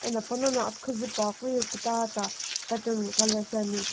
eno pana qo aphikuzu puakeu ye kutata colour ngo pattern shiani.